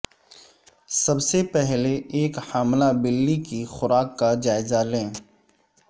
سب سے پہلے ایک حاملہ بلی کی خوراک کا جائزہ لیں